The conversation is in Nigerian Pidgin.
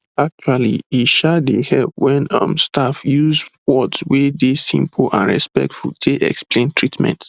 actually e um dey help wen um staff use words wey dey simple and respectful take explain treatment